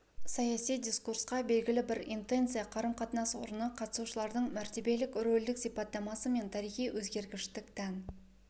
саяси дискурсқа белгілі бір интенция қарым-қатынас орны қатысушылардың мәртебелік-рөлдік сипаттамасы мен тарихи өгергіштік тән